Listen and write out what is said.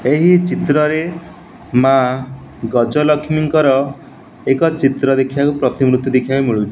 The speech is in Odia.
ଏହି ଚିତ୍ରରେ ମା ଗଜଲକ୍ଷ୍ମୀଙ୍କର ଏକ ଚିତ୍ର ଦେଖିବାକୁ ପ୍ରତିମୂର୍ତ୍ତି ଦେଖିଆକୁ ମିଳୁଚି ।